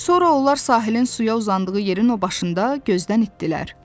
Sonra onlar sahilin suya uzandığı yerin o başında gözdən itdiler.